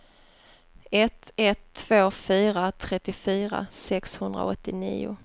ett ett två fyra trettiofyra sexhundraåttionio